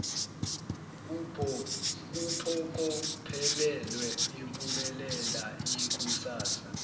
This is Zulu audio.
kuphokophelelwe impumelela yekusasa